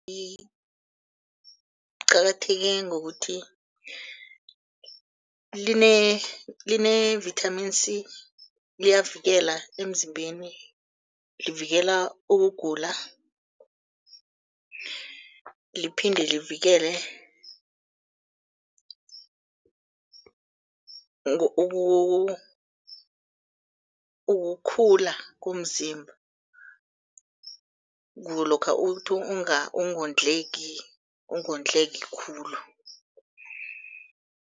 Qakatheke ngokuthi line-vitamin C liyavikela emzimbeni livikela ukugula, liphinde livikele ukukhula komzimba lokha ukuthi ungondleki, ungondleki khulu.